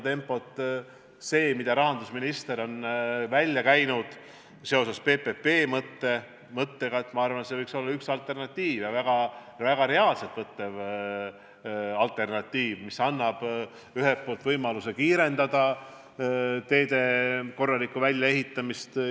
See, mida rahandusminister on seoses PPP-mõttega välja käinud, võiks olla üks alternatiiv ja väga reaalselt võetav alternatiiv, mis annab võimaluse kiirendada korralike teede väljaehitamist.